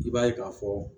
I b'a ye k'a fɔ